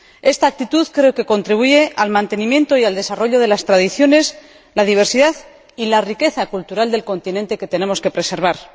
Esta actitud creo que contribuye al mantenimiento y al desarrollo de las tradiciones, la diversidad y la riqueza cultural del continente, que tenemos que preservar.